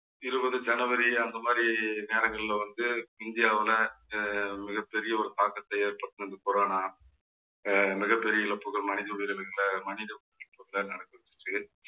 இருபது ஜனவரிஅந்த மாதிரி நேரங்கள்ல வந்து இந்தியாவுல அஹ் மிகப் பெரிய ஒரு தாக்கத்தை ஏற்படுத்துனது corona அஹ் மிகப்பெரிய இழப்புகள் மனித உயிரினங்களாக மனித